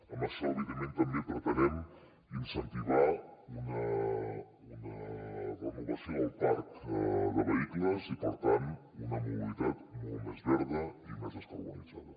amb això evidentment també pretenem incentivar una renovació del parc de vehicles i per tant una mobilitat molt més verda i més descarbonitzada